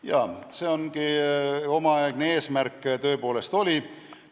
Jah, selline see omaaegne eesmärk tõepoolest oli.